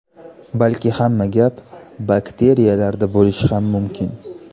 Balki hamma gap bakteriyalarda bo‘lishi ham mumkin.